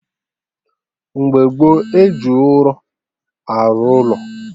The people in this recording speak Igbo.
Mgbe gboo, eji ụrọ arụ ụlọ